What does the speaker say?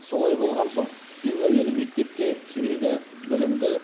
солай болған соң ең әуелі мектепке керегі білімді